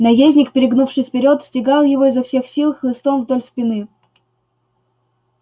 наездник перегнувшись вперёд стегал его изо всех сил хлыстом вдоль спины